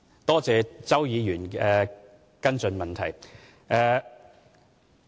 多謝周議員提出的跟進質詢。